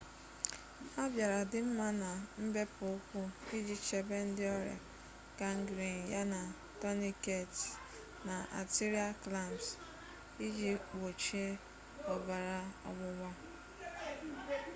ha bịara dị mma na mbepụ ụkwụ iji chebe ndị ọrịa gangrene yana tourniquets na arterial clamps iji gbochie ọbara ọgbụgba